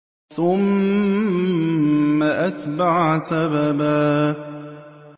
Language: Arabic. ثُمَّ أَتْبَعَ سَبَبًا